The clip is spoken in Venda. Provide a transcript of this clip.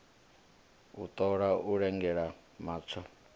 u ṱola u lugela hatsho